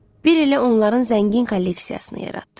Bir ilə onların zəngin kolleksiyasını yaratdı.